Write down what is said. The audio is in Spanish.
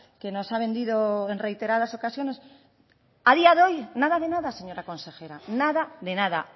que nos ha vendido en reiteradas ocasiones a día de hoy nada de nada señora consejera nada de nada